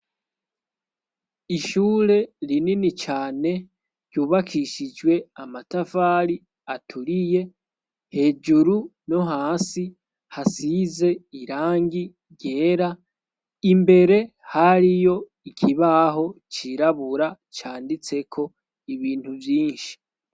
Ishure rinini cane ryubakishijwe amatafari aturiye hejuru no hasi hasize irangi ryera imbere hariyo ikibaho cirabura canditse ko ibintu vyinshi.